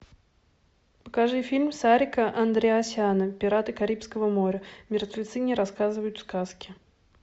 покажи фильм сарика андреасяна пираты карибского моря мертвецы не рассказывают сказки